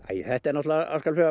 þetta er náttúrulega